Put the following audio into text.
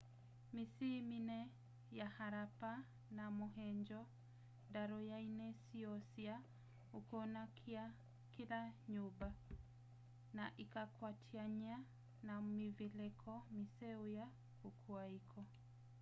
mĩsyĩ mĩnene ya harappa na mohenjo-daro yaĩna syoo sya ũkũna kĩla nyũmba na ĩkakwatanywa na mĩvelekĩ mĩseo ya kũkũa ĩko